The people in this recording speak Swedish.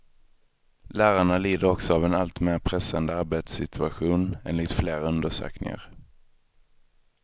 Lärarna lider också av en allt mer pressande arbetssituation, enligt flera undersökningar.